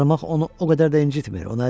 Qarmaq onu o qədər də incitmir.